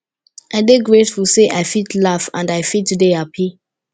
i dey grateful say i fit laugh and i fit dey hapi